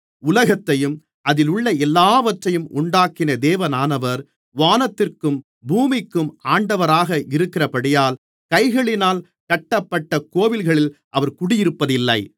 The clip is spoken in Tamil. உலகத்தையும் அதிலுள்ள எல்லாவற்றையும் உண்டாக்கின தேவனானவர் வானத்திற்கும் பூமிக்கும் ஆண்டவராக இருக்கிறபடியால் கைகளினால் கட்டப்பட்ட கோவில்களில் அவர் குடியிருப்பதில்லை